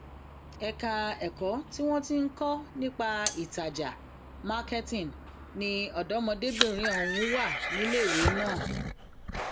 ẹgbẹ òṣèlú pdp wà lára àwọn ẹgbẹ òṣèlú méjìdínlógún tó kópa nínú ètò ìdìbò náà